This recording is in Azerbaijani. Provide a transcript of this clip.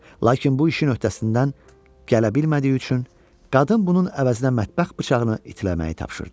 Lakin bu işin öhdəsindən gələ bilmədiyi üçün, qadın bunun əvəzinə mətbəx bıçağını itləməyi tapşırdı.